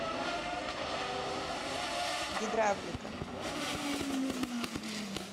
гидравлика